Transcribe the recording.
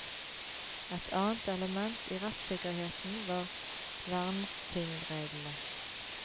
Et annet element i rettssikkerheten var vernetingreglene.